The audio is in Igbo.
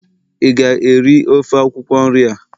ị ga-eri ofe akwukwo nri a!